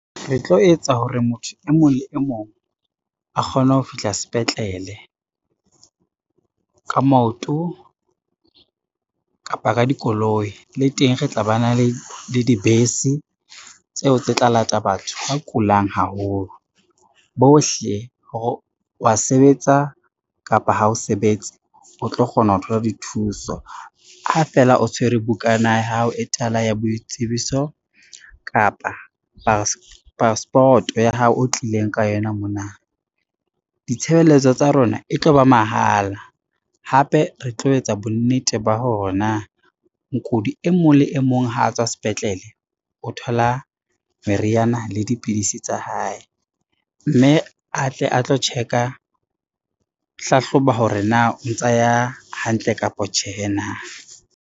Re tlo etsa hore motho e mong le e mong a kgone ho fihla sepetlele, ka maoto kapa ka dikoloi. Le teng re tla ba na le dibese tseo tse tla lata batho ba kulang haholo, bohle hore wa sebetsa kapa ha o sebetse, o tlo kgona ho thola dithuso ha feela o tshwere bukana ya hao e tala ya boitsebiso kapa passport-o ya hao o tlileng ka yona mona. Ditshebeletso tsa rona e tlo ba mahala, hape re tlo etsa bonnete ba hore na mokudi e mong le e mong ha a tswa sepetlele, o thola meriana le dipidisi tsa hae, mme a tle a tlo hlahloba hore na o ntsa ya hantle kapa tjhehe na.